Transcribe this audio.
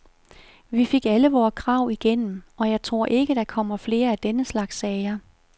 Vi fik alle vore krav igennem, og jeg tror ikke, der kommer flere af denne slags sager.